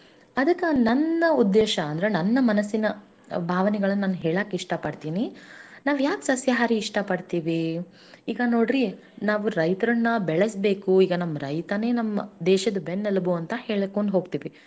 ಅದರ ಅರ್ಥ ನಾವು ಸಸ್ಯಾಹಾರಿ ಇದ್ರಾ ಮಾತ್ರಾ ಅವನು ಮುಂದ ಬರ್ತಾನಲ್ಲರೀ ಪಾಪ ಈಗ ನೋಡ್ರಿ ಅವಾ ಬೆಳೆಯುದನೆಲ್ಲಾ ನಾವು ತಿಂದ್ರೆ ಮಾತ್ರ ಅವನಿಗೆ ಒಂದ ಲಾಭಾ ಆಗ್ತದೆ ಆವಾ ಒಂದ ಸ್ವಲ್ಪ ಮುಂದ ಬರಬಹುದು ಅವ್ರ ಮಕ್ಕಳ ಮದ್ವಿ ಮಾಡಬಹುದು ಅವನು ಒಂದ್ ಮನಿ ಕಟ್ಕೊಬಹುದು ಅವನು ಹೊಲಾ ಮಾಡ್